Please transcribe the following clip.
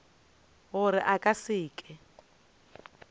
gore a ka se ke